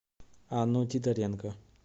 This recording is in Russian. анну титаренко